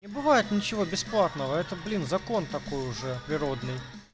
не бывает ничего бесплатного это блин закон такой уже природный